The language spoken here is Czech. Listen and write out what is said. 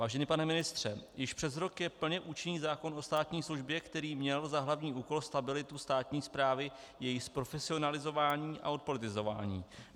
Vážený pane ministře, již přes rok je plně účinný zákon o státní službě, který měl za hlavní úkol stabilitu státní správy, její zprofesionalizování a odpolitizování.